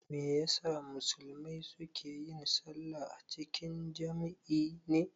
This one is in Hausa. Me ya sa musulmai su ke yin sallah a cikin jam'i ne?